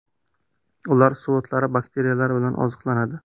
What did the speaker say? Ular suv o‘tlari, bakteriyalar bilan oziqlanadi.